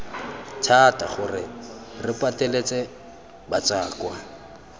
thata gore re pateletse batswakwa